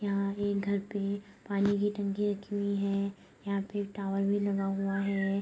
यहाँ एक घर पे पानी की टंकी रखी हुई है | यहाँ पे एक टावर भी लगा हुआ है |